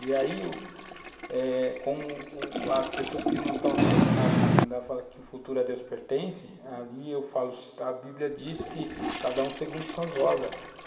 E aí, eh como u as pessoas que não estão nem aí com nada na comunidade falam que o futuro a Deus pertence, ali eu falo, a bíblia diz que cada um segundo suas obras.